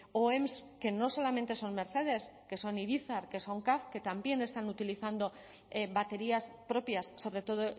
oem que no solamente son mercedes que son irizar que son caf que también están utilizando baterías propias sobre todo